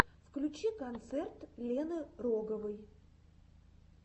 включи концерт лены роговой